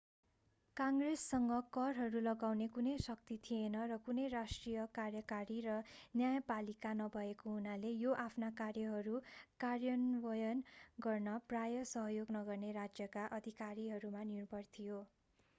कङ्ग्रेससँग करहरू लगाउने कुनै शक्ति थिएन र कुनै राष्ट्रिय कार्यकारी र न्यायपालिका नभएको हुनाले यो आफ्ना कार्यहरू कार्यान्वयन गर्न प्रायः सहयोग नगर्ने राज्यका अधिकारीहरूमा निर्भर थियो